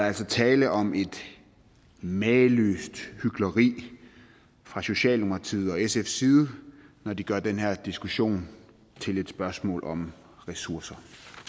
altså tale om et mageløst hykleri fra socialdemokratiets og sfs side når de gør den her diskussion til et spørgsmål om ressourcer